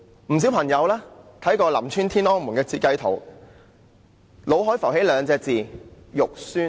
不少朋友看過林村"天安門"的設計圖後，腦海都會浮起兩個字："肉酸"。